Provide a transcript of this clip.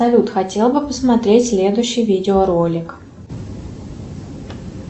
салют хотел бы посмотреть следующий видеоролик